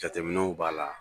Jateminɛw b'a la